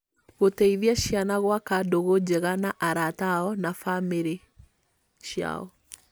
Gũteithia ciana gwaka ndũgũ njega na arata ao na na bamĩrĩ ciao